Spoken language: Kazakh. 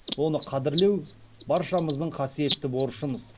оны қадірлеу баршамыздың қасиетті борышымыз